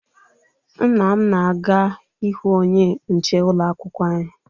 Nna m na-aga ịhụ onye nche ụlọakwụkwọ anyị